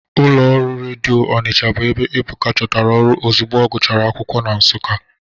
Ụlọ ọrụ redio Ọnicha bụ ebe Ebuka chọtara ọrụ ozugbo ọgụchara akwụkwọ na Nsụka.